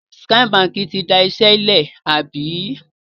Skye Báńkì ti dasẹ́ lẹ̀, àbí?